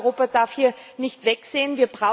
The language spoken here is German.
Und ich glaube, Europa darf hier nicht wegsehen.